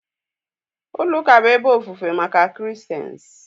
Ulo uka bụ ebe ofufe maka christains